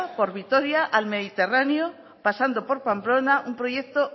por vitoria al mediterráneo pasando por pamplona un proyecto